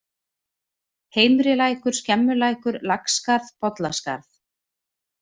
Heimrilækur, Skemmulækur, Laxskarð, Bollaskarð